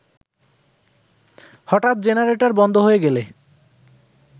হঠাৎ জেনারেটর বন্ধ হয়ে গেলে